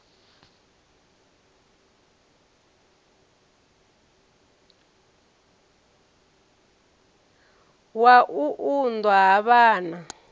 wa u unḓwa ha vhana